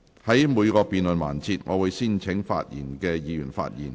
在每個辯論環節，我會先請想發言的議員發言。